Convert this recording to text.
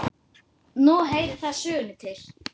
Nú heyrir það sögunni til.